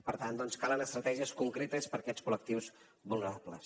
per tant calen estratègies concretes per a aquests col·lectius vulnerables